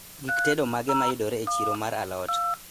Gik tedo mage mayudore e chiro mar alot